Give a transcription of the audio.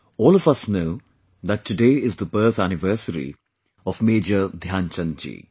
All of us know that today is the birth anniversary of Major Dhyanchand ji